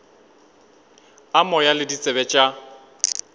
a moya le ditsebe tša